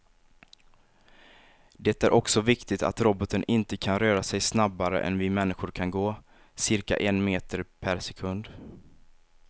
Det är också viktigt att roboten inte kan röra sig snabbare än vi människor kan gå, cirka en meter per sekund.